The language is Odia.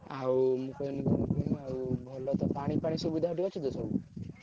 ଆଉ ମୁଁ କହିଲି କଣ କୁହନି ଆଉ ଭଲ ତ ପାଣି ଫାଣି ସୁବିଧା ସେଠି ଅଛି ତ ସବୁ?